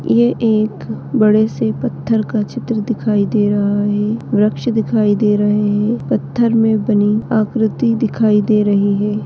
ये एक बड़े से पत्थर का चित्र दिखाई दे रहा है वृक्ष दिखाई दे रहे है पत्थर मे बनी आकृति दिखाई दे रही है।